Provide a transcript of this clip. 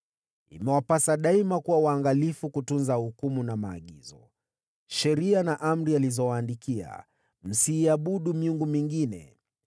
Imewapasa daima kuwa waangalifu kutunza hukumu na maagizo, sheria na amri alizowaandikia. Msiabudu miungu mingine.